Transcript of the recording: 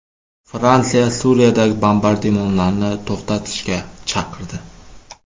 Fransiya Suriyadagi bombardimonlarni to‘xtatishga chaqirdi.